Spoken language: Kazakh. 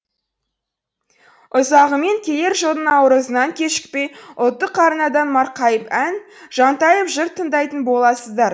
ұзағымен келер жылдың наурызынан кешікпей ұлттық арнадан марқайып ән жантайып жыр тыңдайтын боласыздар